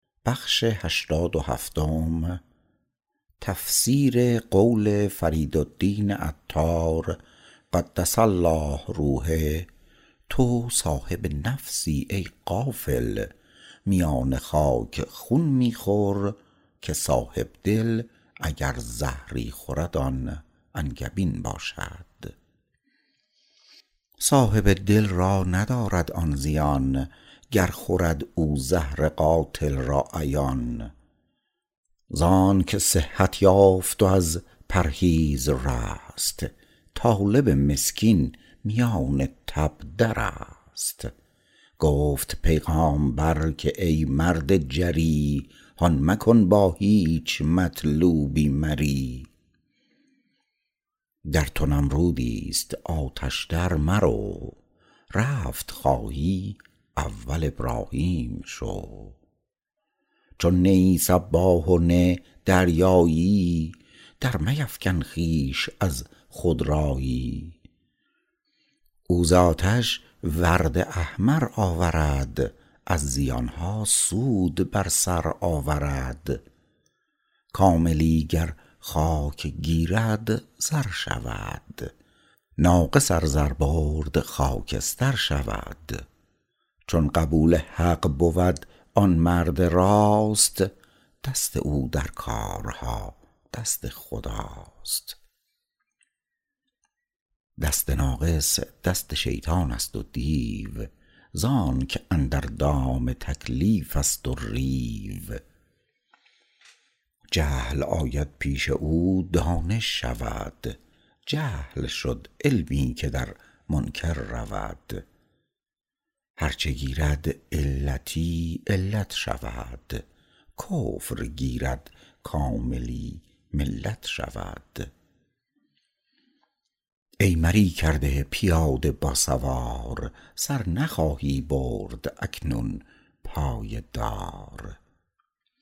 صاحب دل را ندارد آن زیان گر خورد او زهر قاتل را عیان زانک صحت یافت و از پرهیز رست طالب مسکین میان تب درست گفت پیغامبر که ای مرد جری هان مکن با هیچ مطلوبی مری در تو نمرودیست آتش در مرو رفت خواهی اول ابراهیم شو چون نه ای سباح و نه دریاییی در میفکن خویش از خودراییی او ز آتش ورد احمر آورد از زیانها سود بر سر آورد کاملی گر خاک گیرد زر شود ناقص ار زر برد خاکستر شود چون قبول حق بود آن مرد راست دست او در کارها دست خداست دست ناقص دست شیطانست و دیو زانک اندر دام تکلیفست و ریو جهل آید پیش او دانش شود جهل شد علمی که در منکر رود هرچه گیرد علتی علت شود کفر گیرد کاملی ملت شود ای مری کرده پیاده با سوار سر نخواهی برد اکنون پای دار